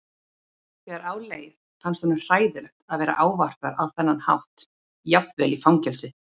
Þegar á leið fannst honum hræðilegt að vera ávarpaður á þennan hátt jafnvel í fangelsi.